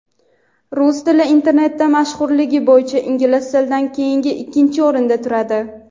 rus tili internetda mashhurligi bo‘yicha ingliz tilidan keyin ikkinchi o‘rinda turadi.